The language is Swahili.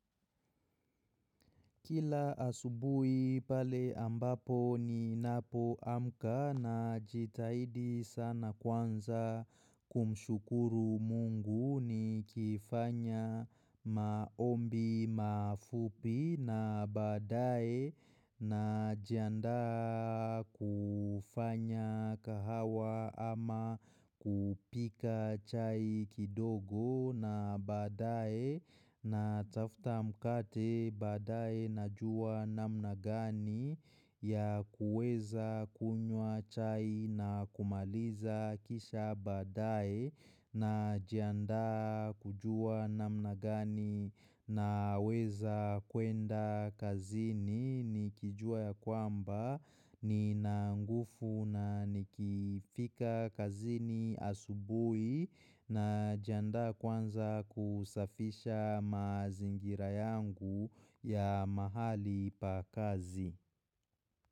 Kila asubuhi pale ambapo ninapoamka najitahidi sana kwanza kumshukuru mungu ni kifanya maombi mafupi na baadaye najianda kufanya kahawa ama kupika chai kidogo na baadaye natafuta mkate baadaye najuwa namna gani ya kuweza kunywa chai na kumaliza kisha baadaye najianda kujua namna gani naweza kwenda kazini nikijua yakwamba nina nguvu na nikifika kazini asubuhi najianda kwanza kusafisha mazingira yangu ya mahali pa kazi.